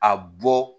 A bɔ